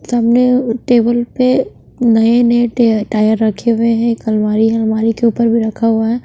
सामने टेबल पे नए-नए टे टाय र रखे हुए हैं एक अलमारी है अलमारी के ऊपर भी रखा हुआ है।